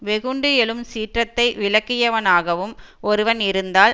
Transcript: வெகுண்டு எழும் சீற்றத்தை விலக்கியவனாகவும் ஒருவன் இருந்தால்